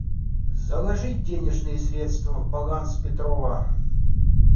заложить денежные средства в баланс петрова